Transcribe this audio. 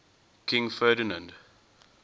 king ferdinand